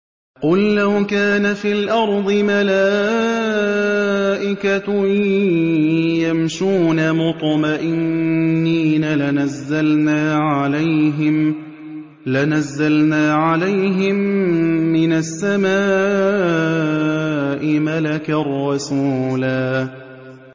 قُل لَّوْ كَانَ فِي الْأَرْضِ مَلَائِكَةٌ يَمْشُونَ مُطْمَئِنِّينَ لَنَزَّلْنَا عَلَيْهِم مِّنَ السَّمَاءِ مَلَكًا رَّسُولًا